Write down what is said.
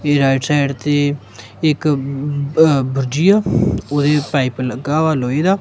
ਇਹ right side ਤੇ ਇੱਕ ਬਜੀ ਆ ਉਹਦੇ ਪਾਈਪ ਲੱਗਾ ਵਾ ਲੋਹੇ ਦਾ।